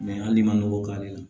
hali n'i ma nɔgɔ k'ale la